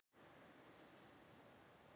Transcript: Hvernig leist þér á fyrsta ástarbréfið mitt?